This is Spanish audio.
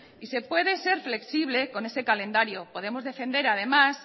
y se puede ser flexible con ese calendario podemos defender además